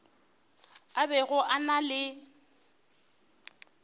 a bego a na le